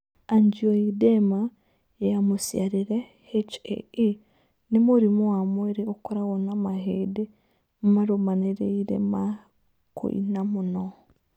Angioedema ya mũciarĩre (HAE) nĩ mũrimũ wa mwĩrĩ ũkoragwo na mahĩndĩ marũmanĩrĩire ma kũina mũno.